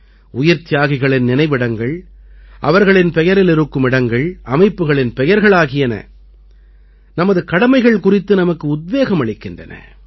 உயிர்த்தியாகிகளின் நினைவிடங்கள் அவர்களின் பெயரில் இருக்கும் இடங்கள் அமைப்புக்களின் பெயர்கள் ஆகியன நமது கடமைகள் குறித்து நமக்கு உத்வேகம் அளிக்கின்றன